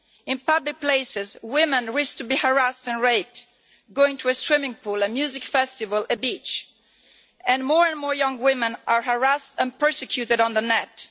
In public places women risk being harassed and raped going to a swimming pool, a music festival, a beach, and more and more young women are harassed and persecuted on the net.